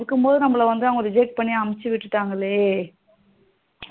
இருக்கும் போது நம்மள வந்து reject பண்ணி அனுப்ச்சி விட்டுடாங்களே